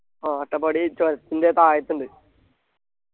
ആ അട്ടപ്പാടി ചുരത്തിൻ്റെ താഴത്തുണ്ട്